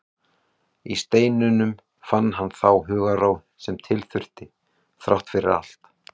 Í steininum fann hann þá hugarró sem til þurfti, þrátt fyrir allt.